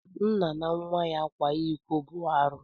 Nna na nwa ya kwa iko bu arụ.